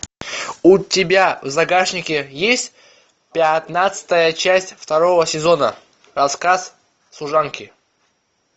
у тебя в загашнике есть пятнадцатая часть второго сезона рассказ служанки